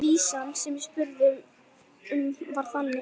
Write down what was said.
Og Lóa Lóa gerði það heldur ekki þegar Heiða sá til.